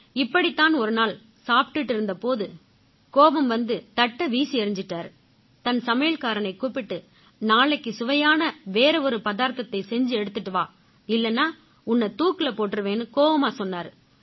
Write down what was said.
இப்படித்தான் ஒரு நாள் சாப்பிட்டுக்கிட்டு இருந்த போது கோபம் வந்து தட்டை வீசி எறிஞ்சிட்டாரு தன் சமையல்காரனைக் கூப்பிட்டு நாளைக்கு சுவையான வேற ஒரு பதார்த்தத்தை செஞ்சு எடுத்திட்டு வா இல்லைன்னா உன்னை தூக்குல போட்டுருவேன்னு கோவமா சொன்னாரு